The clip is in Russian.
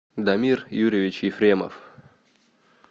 дамир юрьевич ефремов